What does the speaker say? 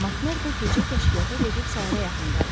MacMordo gecə kəşfiyyata gedib səhərə yaxın qayıtdı.